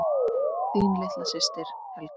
Þín litla systir, Helga.